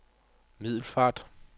Middelfart